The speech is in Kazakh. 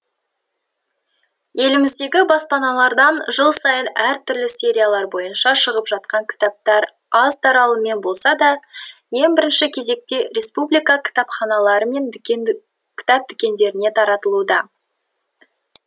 еліміздегі баспаналардан жыл сайын әртүрлі сериялар бойынша шығып жатқан кітаптар аз таралыммен болса да ең бірінші кезекте республика кітапханалары мен кітап дүкендеріне таратылуда